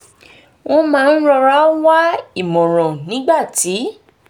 wọ́n máa ń rọra wá ìmọ̀ràn nígbà tí